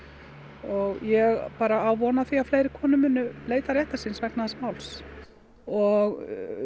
og ég á von á því að fleiri konur munu leita réttar síns vegna þessa máls og